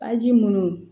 Baji munnu